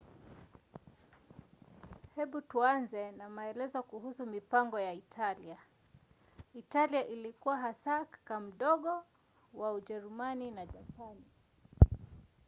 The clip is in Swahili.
hebu tuanze na maelezo kuhusu mipango ya italia. italia ilikuwa hasa kaka mdogo” wa ujerumani na japani